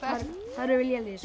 erum við lélegir